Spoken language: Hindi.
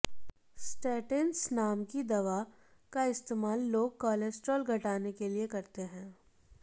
स्टैटिंस नाम की दवा का इस्तेमाल लोग कोलेस्ट्रॉल घटाने के लिए करते हैं